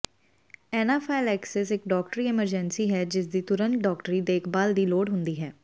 anaphylaxis ਇੱਕ ਡਾਕਟਰੀ emergency ਹੈ ਜਿਸਦੀ ਤੁਰੰਤ ਡਾਕਟਰੀ ਦੇਖਭਾਲ ਦੀ ਲੋੜ ਹੁੰਦੀ ਹੈ